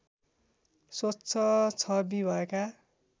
स्वच्छ छवि भएका